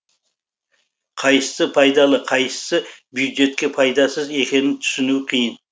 қайсысы пайдалы қайсысы бюджетке пайдасыз екенін түсіну қиын